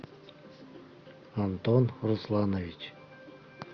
антон русланович